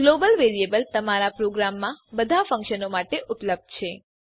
global variable તમારા પ્રોગ્રામમાં બધા ફંક્શનો માટે ઉપલબ્ધ છે